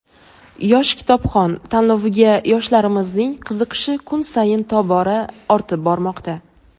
"Yosh kitobxon" tanloviga yoshlarimizning qiziqishi kun sayin tobora ortib bormoqda.